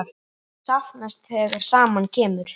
Þetta er allt til staðar!